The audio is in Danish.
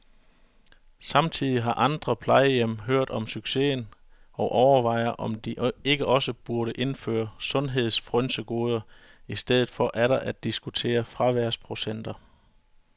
Samtidig har andre plejehjem hørt om succesen og overvejer, om ikke også de burde indføre sundhedsfrynsegoder i stedet for atter at diskutere fraværsprocenter.